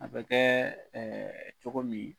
A bɛ kɛ cogo min.